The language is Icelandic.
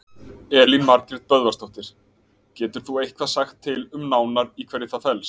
Elín Margrét Böðvarsdóttir: Getur þú eitthvað sagt til um nánar í hverju það felst?